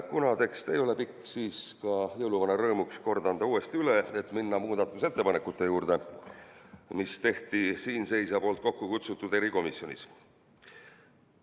Kuna tekst ei ole pikk, siis ma jõuluvana rõõmuks kordan selle uuesti üle, et saaksime minna muudatusettepanekute juurde, mis tehti siinseisja poolt kokku kutsutud erikomisjonis.